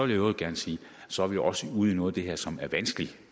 i øvrigt gerne sige at så er vi også ude i noget af det her som er vanskeligt